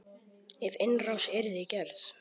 Ef innrás yrði gerð?